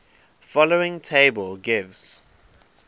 following table gives